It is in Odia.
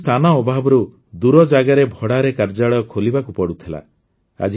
ପୂର୍ବରୁ ସ୍ଥାନ ଅଭାବରୁ ଦୂର ଜାଗାରେ ଭଡ଼ାରେ କାର୍ଯ୍ୟାଳୟ ଖୋଲିବାକୁ ପଡ଼ୁଥିଲା